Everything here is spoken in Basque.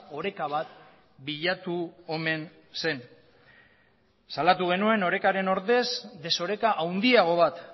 oreka bat bilatu omen zen salatu genuen orekaren ordez desoreka handiago bat